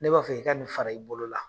Ne b'a fɛ, i ka nin fara i bolo la.